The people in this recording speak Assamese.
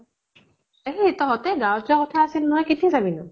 এহ তহঁতে গাঁৱত যোৱা কথা আছিল ন, কেতিয়া যাবি?